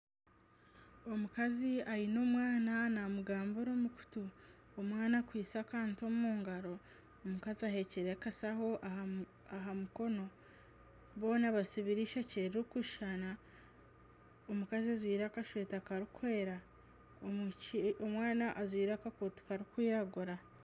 Omukazi aine omwaana namugambira omu kutu, omwaana akwaitse akantu omu ngaro . Omukazi ahekire akasaho aha mukono boona batsibire eishokye rirukushushana omukazi ajwire akashweta karikwera omwaana ajwire akakooti karukwiragura .